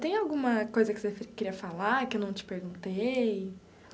Tem alguma coisa que você queria falar que eu não te perguntei?